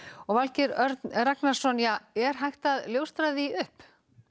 Valgeir Örn Ragnarsson er hægt að ljóstra því upp